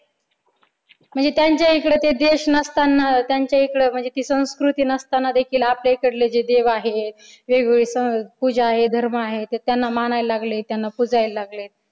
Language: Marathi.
म्हणजे त्यांच्याकडे ते देश नसताना त्यांच्या इकडं म्हणजे ती संस्कृती नसताना देखील आपल्या इकडे जे देव आहे वेगवेगळे सण पूजा आहे धर्म आहे ते त्यांना मानायला लागले त्यांना पुजायला लागले.